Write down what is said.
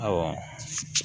Ɔ